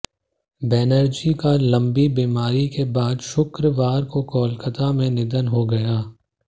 बनर्जी का लंबी बीमारी के बाद शुक्रवार को कोलकाता में निधन हो गया